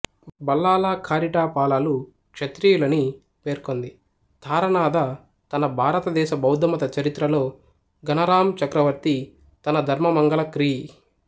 బల్లాలాకారిటా పాలాలు క్షత్రియులని పేర్కొంది తారనాథ తన భారతదేశ బౌద్ధమత చరిత్ర లో ఘనారాం చక్రవర్తి తన ధర్మమంగళ క్రీ